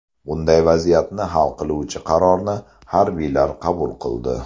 Bunday vaziyatni hal qiluvchi qarorni harbiylar qabul qildi.